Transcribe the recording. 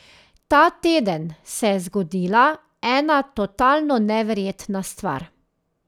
Ta teden se je zgodila ena totalno neverjetna stvar.